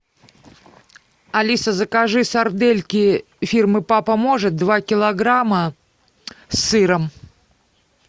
алиса закажи сардельки фирмы папа может два килограмма с сыром